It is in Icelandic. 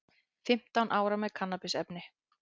Fimmtán ára með kannabisefni